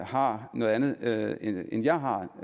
har noget andet herinde end jeg har